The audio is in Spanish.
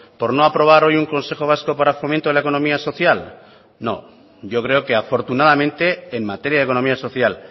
por no aprobar hoy un consejo vasco para fomento de la economía social no yo creo que afortunadamente en materia de economía social